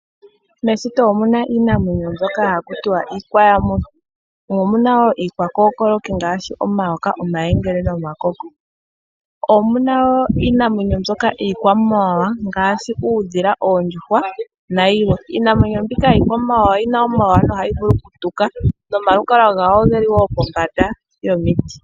Meshito omuna iinamwenyo haku tiwa iiyamuthi, mo omuna woo mbyoka haku tiwa iikookoloki ngaashi iiyengele nomayoka. Omuna wo iinamwenyo iikwamawawa ngaashi uudhila, oondjuhwa nayilwe. Iinamwenyo mbika yina omawawa nohayi vulu okutuka ohayi kala yina omalukalwa geli pombanda.